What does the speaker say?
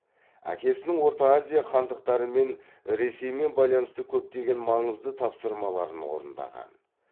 әкесінің орта азия хандықтарымен ресеймен байланысты көптеген маңызды тапсырмаларын орындаған